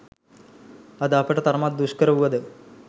අද අපට තරමක් දුෂ්කර වුව ද